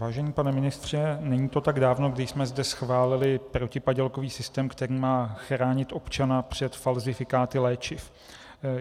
Vážený pane ministře, není to tak dávno, kdy jsme zde schválili protipadělkový systém, který má chránit občana před falzifikáty léčiv.